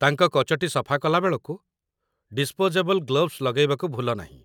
ତାଙ୍କ କଚଟି ସଫା କଲାବେଳକୁ ଡିସ୍ପୋଜେବଲ୍ ଗ୍ଲୋଭ୍ସ ଲଗାଇବାକୁ ଭୁଲନାହିଁ